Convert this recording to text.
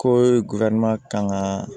Ko kan ka